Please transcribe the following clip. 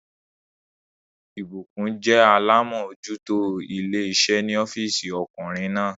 Ìbùkún jẹ́ alámójútó ilé iṣẹ́ ní ọ́físì ọkùnrin náà